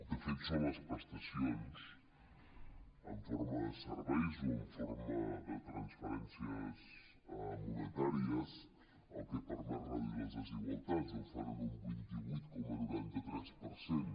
de fet són les prestacions en forma de serveis o en forma de transferències monetàries el que permet reduir les desigualtats ho fan en un vint vuit coma noranta tres per cent